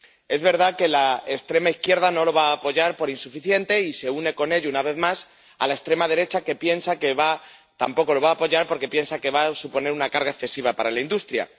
Es verdad que la extrema izquierda no lo va a apoyar por insuficiente y se une, con ello, una vez más, a la extrema derecha, que tampoco lo va a apoyar porque piensa que va a suponer una carga excesiva para la industria.